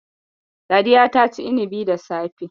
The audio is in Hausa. Sadiya ta ci inibi da safe